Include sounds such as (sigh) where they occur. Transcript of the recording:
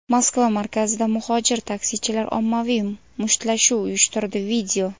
Moskva markazida muhojir taksichilar ommaviy mushtlashuv uyushtirdi. (video)